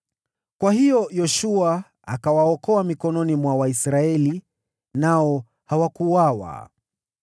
Kwa hiyo Yoshua akawaokoa mikononi mwa Waisraeli, nao hawakuuawa.